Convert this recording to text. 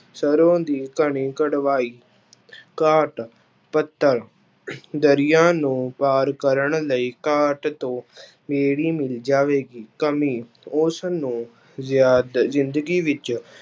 ਸਰੋਂ ਦੀ ਘਾਣੀ ਕਢਵਾਈ ਘਾਟ ਪੱਤਲ ਦਰਿਆ ਨੂੰ ਪਾਰ ਕਰਨ ਲਈ ਘਾਟ ਤੋਂ ਬੇੜੀ ਮਿਲ ਜਾਵੇਗੀ, ਕਮੀ ਉਸਨੂੰ ਜਾਦ~ ਜ਼ਿੰਦਗੀ ਵਿੱਚ